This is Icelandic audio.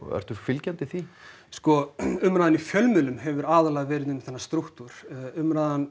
ertu fylgjandi því sko umræðan í fjölmiðlum hefur aðallega verið um þennan strúktúr umræðan